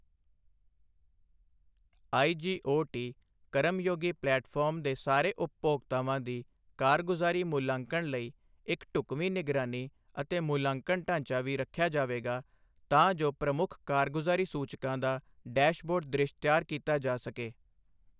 IGOT Karmayogi platform ਦੇ ਸਾਰੇ ਉਪਭੋਗਤਾਵਾਂ ਦੀ ਕਾਰਗੁਜ਼ਾਰੀ ਮੁਲਾਂਕਣ ਲਈ ਇੱਕ ਢੁੱਕਵੀਂ ਨਿਗਰਾਨੀ ਅਤੇ ਮੁਲਾਂਕਣ ਢਾਂਚਾ ਵੀ ਰੱਖਿਆ ਜਾਵੇਗਾ ਤਾਂ ਜੋ ਪ੍ਰਮੁੱਖ ਕਾਰਗੁਜ਼ਾਰੀ ਸੂਚਕਾਂ ਦਾ ਡੈਸ਼ਬੋਰਡ ਦ੍ਰਿਸ਼ ਤਿਆਰ ਕੀਤਾ ਜਾ ਸਕੇ।